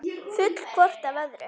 Full hvort af öðru.